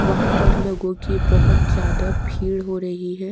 वहां पर लोगों की बहुत ज्यादा भीड़ हो रही है।